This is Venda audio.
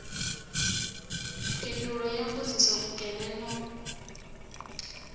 phindulo ya mbudziso nkene no